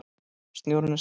Snjórinn er sleipur!